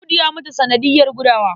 Audu ya mutu sanadiyar gudawa.